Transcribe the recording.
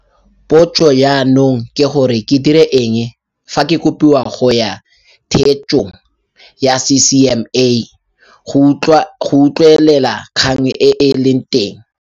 Potso jaanong ke gore ke dire eng fa ke kopiwa go ya theetsong ya CCMA go utlwelela kgang e e leng teng.